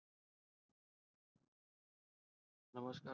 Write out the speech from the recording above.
નમસ્કાર.